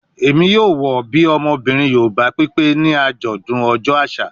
Emi yoo wọ bi ọmọbirin Yoruba pipe ni ajọdun ọjọ aṣa